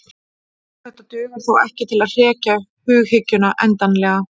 Þetta dugar þó ekki til að hrekja hughyggjuna endanlega.